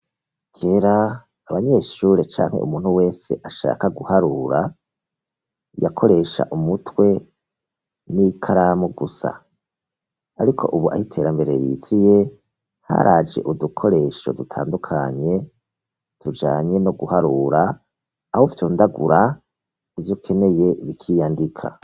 Kera, abanyeshure canke umuntu wese ashaka guharura, yakoresha umutwe n'ikaramu gusa. Ariko ubu, aho iterambere riziye, haraje udukoresho dutandukanye tujanye no guharura, aho ufyondagura ivyo ukeneye bikiyandika.